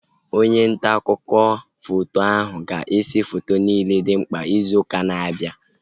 Onye ntaakụkọ foto ahu ga-ese foto niile dị mkpa izu ụka na-abịa